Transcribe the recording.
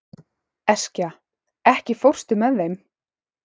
Eskja, ekki fórstu með þeim?